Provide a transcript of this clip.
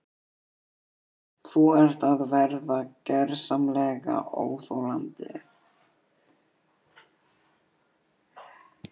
Þú ert að verða gersamlega óþolandi!